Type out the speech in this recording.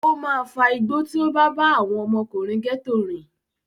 Ó máa fa igbó tí ó bá bá àwọn ọmọkùnrin gẹ́tò rìn.